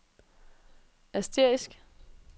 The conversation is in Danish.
asterisk